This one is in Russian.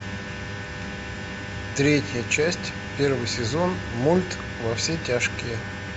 третья часть первый сезон мульт во все тяжкие